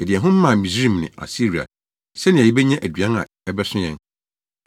Yɛde yɛn ho maa Misraim ne Asiria sɛnea yebenya aduan a ɛbɛso yɛn.